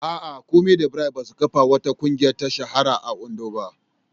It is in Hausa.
A'a, Kunmi da Bright ba su kafa wata ƙungiya ta shahara a Ondo ba.